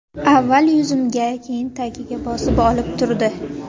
Avval yuzimga, keyin tagiga bosib olib urdi.